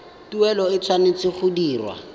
tuelo e tshwanetse go dirwa